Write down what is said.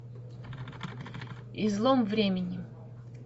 излом времени